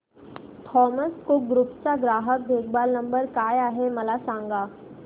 Thomas Cook group चा ग्राहक देखभाल नंबर काय आहे मला सांगा